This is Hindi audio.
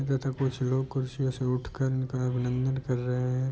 तथा कुछ लोग कुर्सियों से उठ कर इनका अभिनंदन कर रहे हैं।